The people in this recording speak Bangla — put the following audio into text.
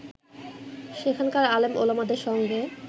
সেখানকার আলেম-ওলামাদের সঙ্গে